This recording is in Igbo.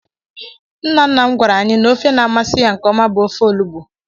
Nna nna m gwara anyị n'ofe na-amasị ya nkeọma bụ ofe olugbo.